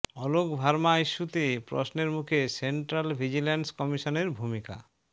অলোক ভার্মা ইস্যুতে প্রশ্নের মুখে সেন্ট্রাল ভিজিলেন্স কমিশনের ভূমিকা